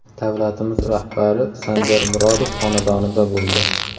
Davlatimiz rahbari Sanjar Murodov xonadonida bo‘ldi.